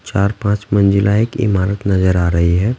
चार पाँच मंजिला एक इमारत नजर आ रही हैं ।